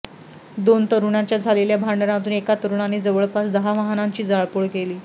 दोन तरुणांच्या झालेल्या भांडणातून एका तरुणाने जवळपास दहा वाहनांची जाळपोळ केली